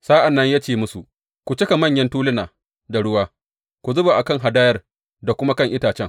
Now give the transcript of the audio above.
Sa’an nan ya ce musu, Ku cika manyan tuluna da ruwa, ku zuba a kan hadayar da kuma a kan itacen.